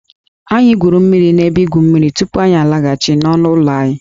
Anyị gwuru mmiri n'ebe igwu mmiri tupu anyị alaghachi n'ọnụ ụlọ anyị